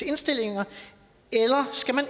indstillinger eller skal man